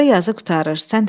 Burda yazı qurtarır.